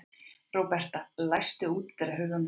Róberta, læstu útidyrunum.